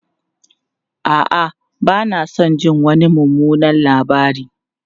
A'a, ba na son jin wani mummunan labari.